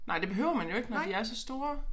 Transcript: Nej det behøver man jo ikke når de er så store